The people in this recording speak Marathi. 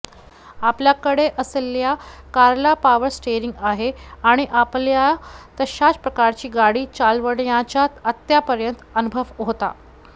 आपल्याकडे असलेल्या कारला पॉवर स्टेरिंग आहे आणि आपल्याला तशाच प्रकारची गाडी चालवण्याचा आत्तापर्यंत अनुभव होता